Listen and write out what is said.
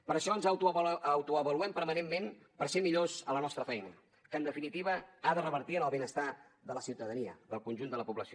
per això ens autoavaluem permanentment per ser millors a la nostra feina que en definitiva ha de revertir en el benestar de la ciutadania del conjunt de la població